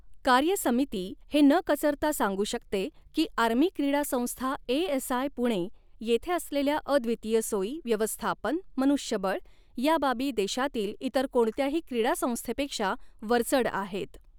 कार्य समिती हे न कचरता सांगू शकते की आर्मी क्रिडा संस्था ए एस आय , पुणे येथे असलेल्या अद्वितिय सोयी, व्यवस्थापन, मनुष्य़बळ या बाबी देशातील इतर कोणत्याही क्रिडासंस्थेपेक्षा वरचढ आहेत.